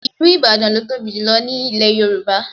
Ìlú Ìbàdàn ló tóbi jù ní ilẹ̀ Yorùbá